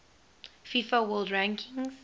fifa world rankings